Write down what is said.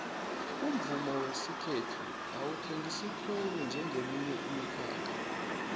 umvumo wesikhethu awuthengisi khulu njengeminye imikhakha